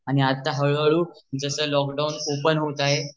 आणि आता हळूहळू जस लॉकडाउन ओपेन होत आहे